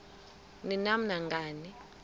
ni nam nangani